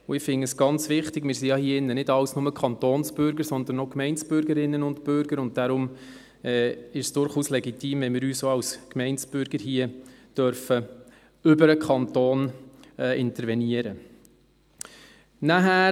Und ich finde es ganz wichtig – wir sind hier drin ja nicht alles nur Kantonsbürger, sondern auch Gemeindebürgerinnen und -bürger –, und deshalb ist es durchaus legitim, dass wir auch als Gemeindebürger hier über den Kanton intervenieren dürfen.